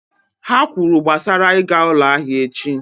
Ha kwuru gbasara ịga ụlọ ahịa echi